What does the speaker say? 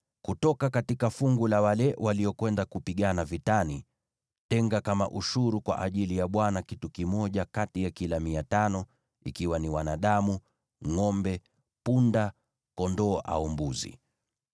Kutoka fungu la wale waliokwenda kupigana vitani, tenga kama ushuru kwa ajili ya Bwana kitu kimoja kati ya kila mia tano, ikiwa ni wanadamu, ngʼombe, punda, kondoo au mbuzi.